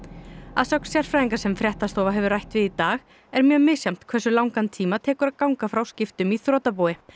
að sögn sérfræðinga sem fréttastofa hefur rætt við í dag er mjög misjafnt hversu langan tíma tekur að ganga frá skiptum í þrotabúi